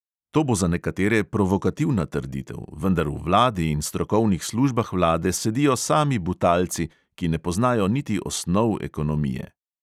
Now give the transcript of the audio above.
To bo za nekatere provokativna trditev, vendar v vladi in strokovnih službah vlade sedijo sami butalci, ki ne poznajo niti osnov ekonomije.